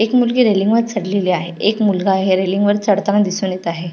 एक मुलगी रेलींगवर चढलेली आहे एक मुलगा आहे रेलींगवर चढताना दिसुन येत आहे.